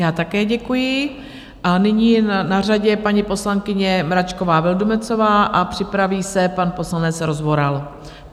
Já také děkuji a nyní je na řadě paní poslankyně Mračková Vildumetzová a připraví se pan poslanec Rozvoral.